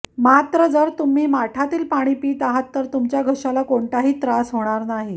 मात्र जर तुम्ही माठातील पाणी पित आहात तर तुमच्या घश्याला कोणताही त्रास होणार नाही